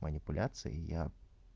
манипуляции и я